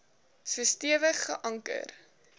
so stewig geanker